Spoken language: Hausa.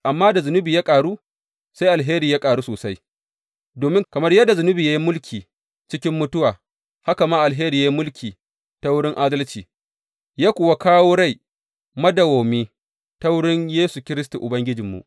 Amma da zunubi ya ƙaru, sai alheri ya ƙaru sosai, domin, kamar yadda zunubi ya yi mulki cikin mutuwa, haka ma alheri yă yi mulki ta wurin adalci yă kuwa kawo rai madawwami ta wurin Yesu Kiristi Ubangijinmu.